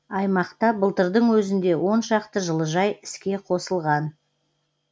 аймақта былтырдың өзінде оншақты жылыжай іске қосылған